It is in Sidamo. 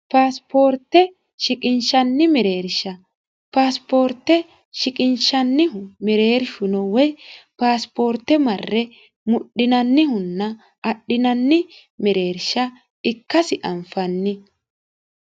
paasiporte shiqinshshanni mereershsha paasiporte shiqinshshannihu mereershu no woy paasiporte marre mudhinannihunna woy, adhinanni mereershsha, ikkasi anfanni